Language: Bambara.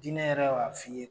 diinɛ yɛrɛ b'a f'i ye.